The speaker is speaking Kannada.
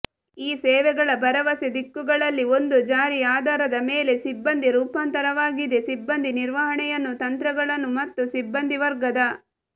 ಈ ಸೇವೆಗಳ ಭರವಸೆ ದಿಕ್ಕುಗಳಲ್ಲಿ ಒಂದು ಜಾರಿ ಆಧಾರದ ಮೇಲೆ ಸಿಬ್ಬಂದಿ ರೂಪಾಂತರವಾಗಿದೆ ಸಿಬ್ಬಂದಿ ನಿರ್ವಹಣೆಯನ್ನು ತಂತ್ರಗಳನ್ನು ಮತ್ತು ಸಿಬ್ಬಂದಿವರ್ಗದ